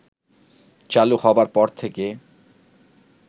চালু হবার পর থেকে